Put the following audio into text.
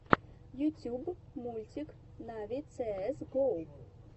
ютьюб мультик нави цээс го